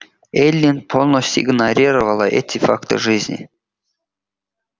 эллин полностью игнорировала эти факты жизни